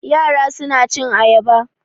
Yara suna cin ayaba.